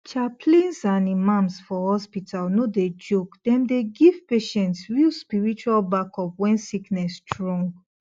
chaplains and imams for hospital no dey joke dem dey give patients real spiritual backup when sickness strong